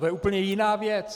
To je úplně jiná věc.